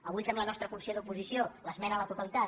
avui fem la nostra fun·ció d’oposició l’esmena a la totalitat